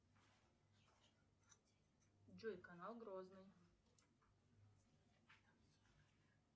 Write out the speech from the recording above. джой канал грозный